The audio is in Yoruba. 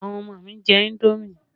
Àwọn ọmọ mi jẹ indomi